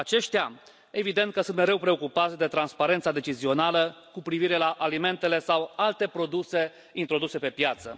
Aceștia evident că sunt mereu preocupați de transparența decizională cu privire la alimentele sau alte produse introduse pe piață.